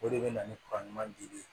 O de bɛ na ni ka ɲuman dili ye